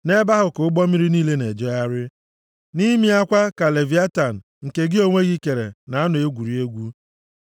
Nʼebe ahụ ka ụgbọ mmiri niile na-ejegharị, nʼime ya kwa ka leviatan, nke gị onwe gị kere, na-anọ egwuri egwu.